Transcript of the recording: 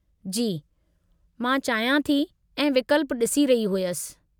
जी मां चाहियां थी ऐं विकल्प डि॒सी रही हुयसि।